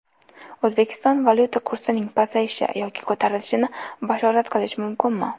O‘zbekistonda valyuta kursining pasayishi yoki ko‘tarilishini bashorat qilish mumkinmi?